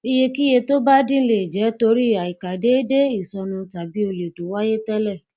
iyekiye tó bá din le jẹ tori aikadeede isonu tàbí olè to wáyé télè